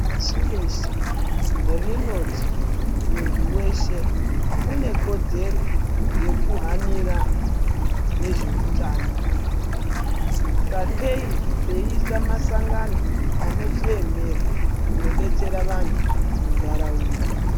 Pashi reshe rinoti muntu weshe unekodzere yekuhanira nezveutano sakei veiisa masangano anozviemera kunodetsera vantu muntaraunda.